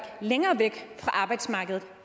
længere væk fra arbejdsmarkedet